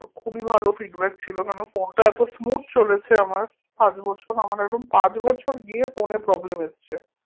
খুবই ভালো feedback ছিল কেন phone টা এতো smooth চলেছে আমার পাঁচ বছর আমার এরম পাঁচ বছর গিয়ে phone এ problem এসছে